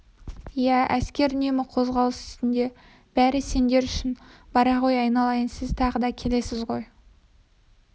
иә әскер үнемі қозғалыс үстінде бәрі сендер үшін бара ғой айналайын сіз тағы да келесіз ғой